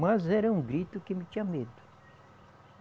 Mas era um grito que não tinha medo.